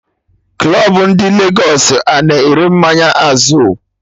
Club ndị Lagos a-na ere mmanya Azul?